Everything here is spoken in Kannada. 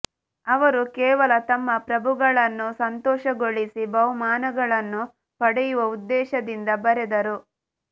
ಅವರು ಕೇವಲ ತಮ್ಮ ಪ್ರಭುಗಳನ್ನು ಸಂತೋಷಗೊಳಿಸಿ ಬಹುಮಾನಗಳನ್ನು ಪಡೆಯುವ ಉದ್ದೇಶದಿಂದ ಬರೆದರು